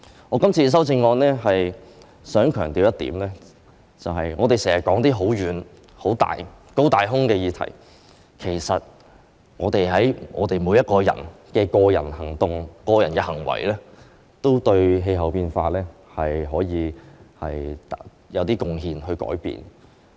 我今次的修正案想強調一點，我們經常說"高大空"的議題，其實我們每個人的個人行為都可以對改變氣候變化作出少許貢獻。